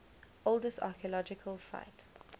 oldest archeological site